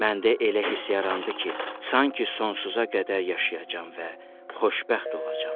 Məndə elə hiss yarandı ki, sanki sonsuza qədər yaşayacam və xoşbəxt olacam.